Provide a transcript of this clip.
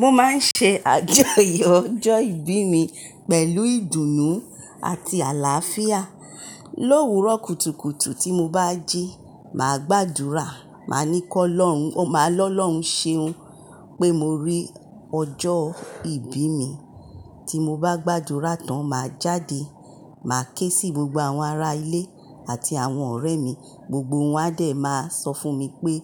Mo máa ń ṣe àjọyọ̀ ọjọ́ ìbí mi pẹ̀lú ìdùnnú àti àlàáfíà. Lówùúrọ̀ kùtùkùtù tí mo bá jí, màá gbàdúrà, màá ní k'Olohun, màá lọ́ lọ̀hùn ṣeun pé mo rí ọjọ́ ìbí mi. Tí mo bá gbàdúrà tán, màá jáde, màá ké sí gbogbo àwọn ará ilé àti àwọn ọ̀rẹ́ mi, gbogbo wọn a dè máa sọ fún mi pé